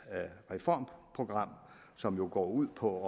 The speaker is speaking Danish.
reformprogram som jo går ud på